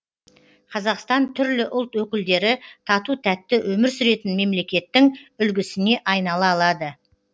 қазақстан түрлі ұлт өкілдері тату тәтті өмір сүретін мемлекеттің үлгісіне айнала алады